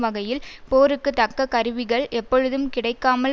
வகையில் போருக்கு தக்க கருவிகள் எப்பொழுதும் கிடைக்காமல்